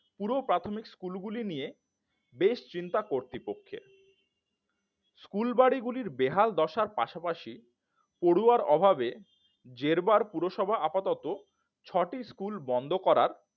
পুরো প্রাথমিক স্কুলগুলি নিয়ে বেশ চিন্তা কর্তৃপক্ষের স্কুল বাড়িগুলির বেহাল দশার পাশাপাশি পড়ুয়ার অভাবে জেরবার পুরসভা আপাতত ছয়টি স্কুল বন্ধ করার